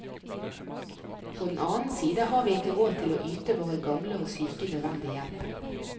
På den annen side har vi ikke råd til å yte våre gamle og syke nødvendig hjelp.